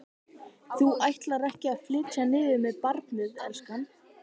Þú ætlar ekki að flytja niður með barnið, elskan?